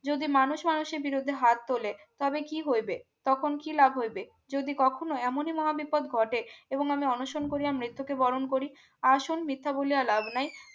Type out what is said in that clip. যদি মানুষ মানুষের বিরুদ্ধে হাত তোলে তবে কি হইবে তখন কি লাভ হইবে যদি কখনো এমনই মহা বিপদ ঘটে এবং আমি অনশন করিয়া মৃত্যুকে বরণ করি আসন মিথ্যা বলিয়া লাভ নেই